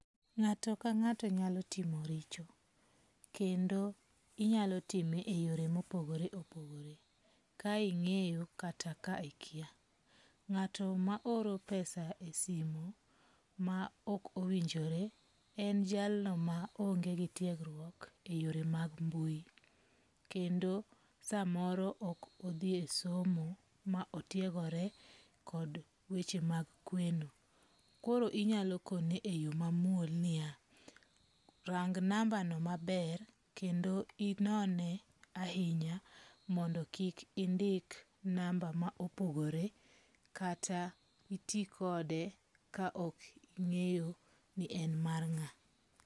Nga'to ka nga'to nyalo timo richo, kendo inyalo time e yore mo opogore opogore, kae inge'yo kata kai ikia, ngato ma oro pesa e simu ma ok owinjore en jalno ma onge gi tiegruok e yore mag mbui, kendo samoro ok othie somo ma otiegore kod weche mag kweno, koro inyalo kone e yo mamuol ni ya, rang nambano maber kendo inone ahinya mondo kik indik namba ma opogore kata itikode ka ok ingeyo ni en mar nga'?